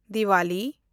Diwali